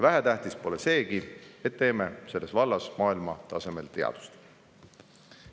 Vähetähtis pole seegi, et teeme selles vallas maailma tasemel teadust.